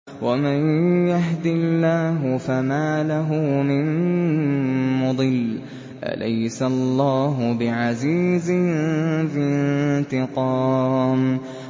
وَمَن يَهْدِ اللَّهُ فَمَا لَهُ مِن مُّضِلٍّ ۗ أَلَيْسَ اللَّهُ بِعَزِيزٍ ذِي انتِقَامٍ